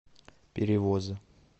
перевоз